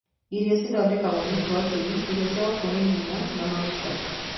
Irio cithondeketeo nĩ protĩini, irio cia gũkũhe hinya na maguta.